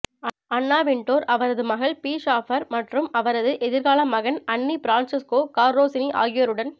அன்னா Wintour அவரது மகள் Bee Shaffer மற்றும் அவரது எதிர்கால மகன் அண்ணி பிரான்செஸ்கோ கார்ரோசினி ஆகியோருடன்